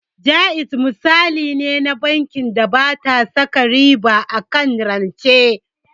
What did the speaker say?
Jaiz misali ne na bankin da bata saka riba akan rance